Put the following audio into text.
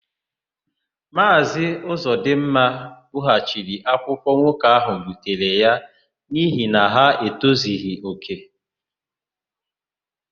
Maazị Ụzọdịmma bughachiri akwụkwọ nwoke ahụ butere ya n'ihi na ha etozughị òkè.